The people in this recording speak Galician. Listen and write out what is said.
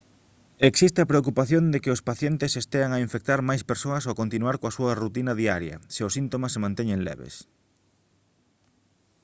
existe a preocupación de que os pacientes estean a infectar máis persoas ao continuar coa súa rutina diaria se os síntomas se manteñen leves